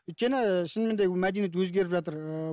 өйткені ііі шынымен де мәдениет өзгеріп жатыр ыыы